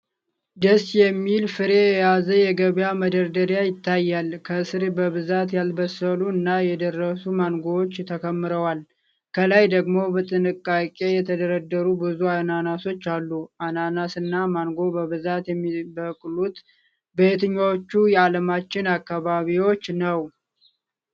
ደስ የሚል ፍሬ የያዘ የገበያ መደርደሪያ ይታያል። ከስር በብዛት ያልበሰሉ እና የደረሱ ማንጎዎች ተከምረዋል። ከላይ ደግሞ በጥንቃቄ የተደረደሩ ብዙ አናናሶች አሉ። አናናስ እና ማንጎ በብዛት የሚበቅሉት በየትኞቹ የዓለማችን አካባቢዎች ነው?